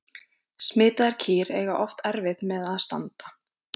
Smitaðar kýr eiga oft erfitt með að standa.